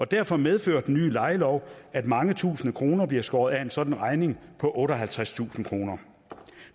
derfor medfører den nye lejelov at mange tusinde kroner bliver skåret af en sådan regning på otteoghalvtredstusind kroner